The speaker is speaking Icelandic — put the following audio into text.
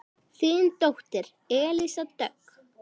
Þín dóttir Elísa Dögg.